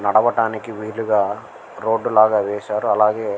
నడువడానికి విల్లుగా రోడ్ లాగా వేసారు అలాగే --